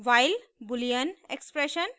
while boolean expression